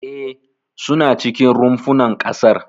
E, suna cikin rumfunan ƙasar.